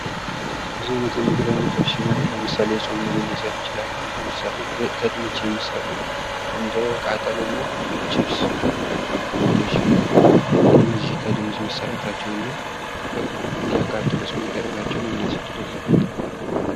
ብዙ አይነት የምግብ ዓይነቶች ሲኖሩ ለምሳሌ የጾም ምግብን መውሰድ እንችላለን ። ምሳሌ ፦ ከድንች የሚሰሩ እንደቃጠሎና ችብስ አይነት ምግቦች ሲኖሩ እነዚህ ከድንች መሰራታቸውና እንዲያቃጥሉስ መደረጋቸው ለምን አስፈለገ ?